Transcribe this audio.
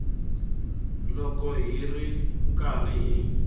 loko hi ri karhi hi